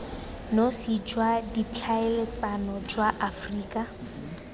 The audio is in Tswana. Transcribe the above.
nosi jwa ditlhaeletsano jwa aforika